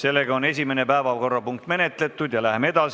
ja esimene päevakorrapunkt on seega menetletud.